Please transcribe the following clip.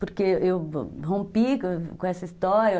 Porque eu rompi com essa história.